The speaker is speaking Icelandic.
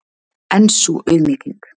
En sú auðmýking!